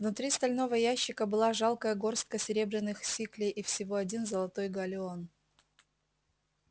внутри стального ящика была жалкая горстка серебряных сиклей и всего один золотой галлеон